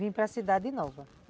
Vim para a Cidade Nova.